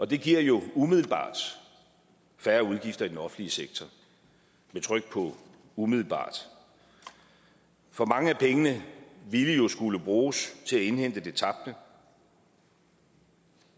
det giver jo umiddelbart færre udgifter i den offentlige sektor jeg tror ikke på umiddelbart for mange af pengene ville jo skulle bruges til at indhente det tabte